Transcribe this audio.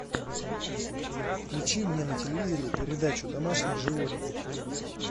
включи мне на телевизоре передачу домашние животные